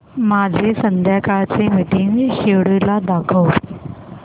माझे संध्याकाळ चे मीटिंग श्येड्यूल दाखव